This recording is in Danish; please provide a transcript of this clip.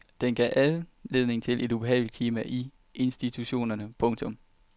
Den gav anledning til et ubehageligt klima i institutionerne. punktum